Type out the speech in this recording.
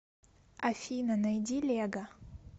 афина найди лего